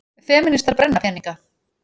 Femínistar brenna peninga